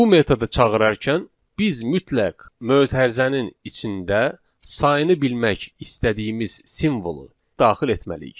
Bu metodu çağırarkən biz mütləq mötərizənin içində sayını bilmək istədiyimiz simvolu daxil etməliyik.